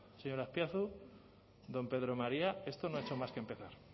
señor azpiazu don pedro maría esto no ha hecho más que empezar